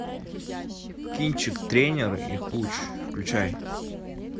кинчик тренер и хуч включай